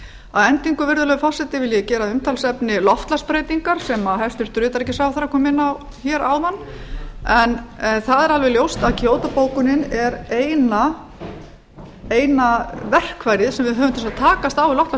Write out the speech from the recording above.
að endingu virðulegur forseta vil ég gera að umtalsefni loftslagsbreytingar sem hæstvirtur utanríkisráðherra kom inn á hér áðan það er alveg ljóst að kýótó bókunin er eina verkfærið sem við höfum til þess að takast á við loftslagsbreytingar